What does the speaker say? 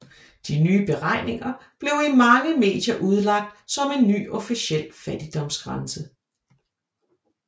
De nye beregninger blev i mange medier udlagt som en ny officiel fattigdomsgrænse